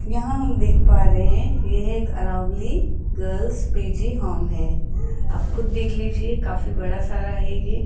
यहां हम देख पा रहे हैं ये हैं एक अरावली गर्ल्स पी_जी होम है आप खुद देख लीजिए काफी बड़ा सारा हैं ये।